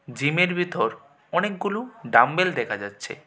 জিমের ভিতর অনেকগুলো ডাম্বেল দেখা যাচ্ছে।